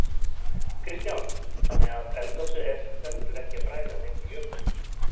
Kristján: Þannig að eldgosið er sem stendur ekki að bræða neinn jökul?